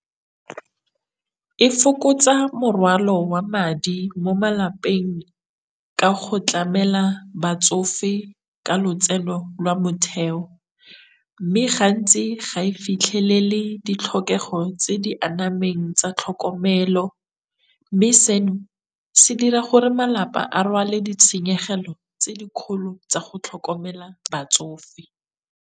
E fokotsa morwalo wa madi mo malapeng ka go tlamela batsofe ka lotseno lwa motheo, mme gantsi ga e fitlhelele ditlhokego tse di anameng tsa tlhokomelo, mme seno se dira gore malapa a rwale ditshenyegelo tse di kgolo tsa go tlhokomela batsofe.